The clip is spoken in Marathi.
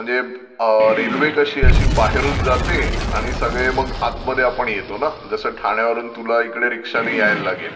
म्हणजे रेल्वे कशी अशी बाहेरून जाते आणि सगळे मग आतमध्ये आपण येतो ना. जसं ठाण्यावरून तुला इकडे रिक्षाने यायला लागेल.